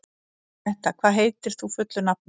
Metta, hvað heitir þú fullu nafni?